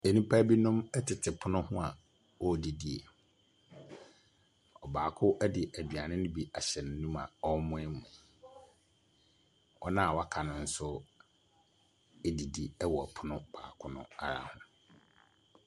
Nnipa binom tete pono ho a wɔredidi. Ɔbaako de aduane no aduane no bi ahyɛ n'anum a ɔremoamoa. Wɔn a wɔaka no nso redidi wɔ pono baako no ara ho.